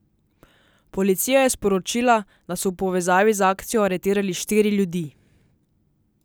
Policija je sporočila, da so v povezavi z akcijo aretirali štiri ljudi.